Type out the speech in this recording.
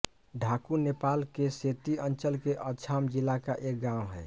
ढाकु नेपाल के सेती अंचल के अछाम जिला का एक गाँव है